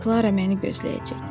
Klara məni gözləyəcək.